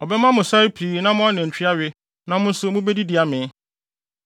Ɔbɛma mo sare pii na mo anantwi awe na mo nso mubedidi amee.